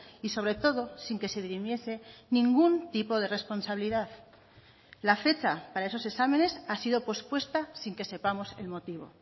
y sobre todo sin que se dirimiese ningún tipo de responsabilidad la fecha para esos exámenes ha sido pospuesta sin que sepamos el motivo